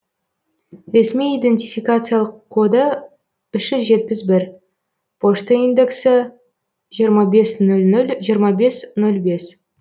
ресми идентификациялық коды үш жүз жетпіс бір пошта индексі жиырма нөл нөл жиырма бес нөл бес